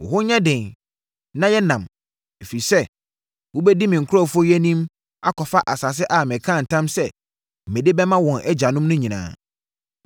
Wo ho nyɛ den na yɛ nnam, ɛfiri sɛ, wobɛdi me nkurɔfoɔ yi anim akɔfa asase a mekaa ntam sɛ mede bɛma wɔn agyanom no nyinaa.